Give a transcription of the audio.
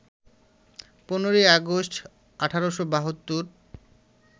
১৫ই আগস্ট, ১৮৭২